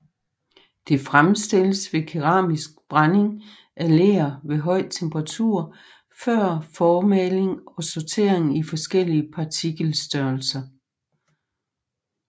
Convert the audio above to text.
Det fremstilles ved keramisk brænding af ler ved høj temperatur før formaling og sortering i forskellige partikelstørrelser